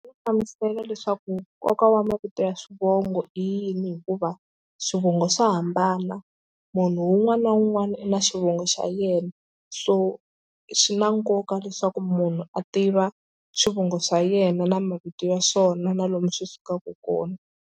Hlamusela leswaku nkoka wa mavito ya swivongo i yini hikuva swivongo swa hambana munhu un'wana na un'wana i na xivongo xa yena so swi na nkoka leswaku munhu a tiva swivongo swa yena na mavito ya swona na lomu swi sukaka kona.